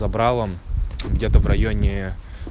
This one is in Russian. добра вам где-то в районе